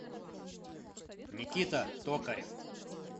никита токарев